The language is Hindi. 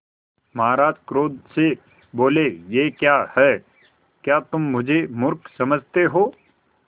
महाराज क्रोध से बोले यह क्या है क्या तुम मुझे मुर्ख समझते हो